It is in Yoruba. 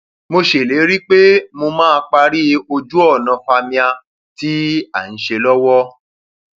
mo ṣèlérí pé mo máa parí ojúọnà fàmíà tí à ń ṣe lọwọ